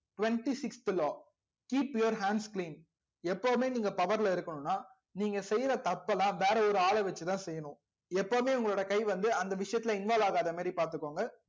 twenty sixth law keep your hands clean எப்போவுமே நீங்க power ல இருக்கணும்னா நீங்க செய்யிற தப்பலாம் வேற ஒரு ஆல வச்சிதா செய்யணும் எப்போவுமே உங்களோட கை வந்து அந்த விஷயத்துல involve ஆகாத மாரி